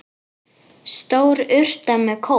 Stór urta með kóp.